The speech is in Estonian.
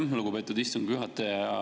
Aitäh, lugupeetud istungi juhataja!